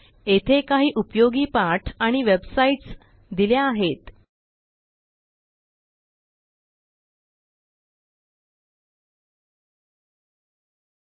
येथे काही उपयोगी पाठ आणि वेबसाईटस दिल्या आहेतltpausegt